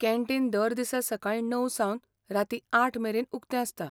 Canteen दर दिसा सकाळीं णव सावन रातीं आठ मेरेन उक्तें आसता.